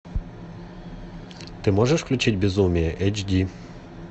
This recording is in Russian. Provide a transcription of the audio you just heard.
ты можешь включить безумие эйч ди